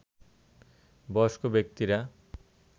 বয়স্ক ব্যক্তিরা